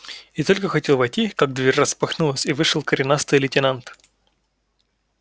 и только хотел войти как дверь распахнулась и вышел коренастый лейтенант